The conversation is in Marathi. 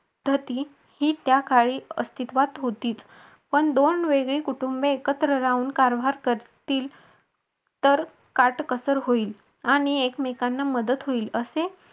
धती ही त्याकाळी अस्तित्वात होती पण दोन वेगळी कुटुंबे एकत्र राहून कारभार करतील. तर काटकसर होईल आणि एकमेकांना मदत होईल असे